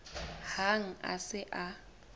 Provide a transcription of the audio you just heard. hang ha a se a